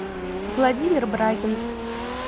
владимир брагин